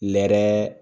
Lɛɛrɛ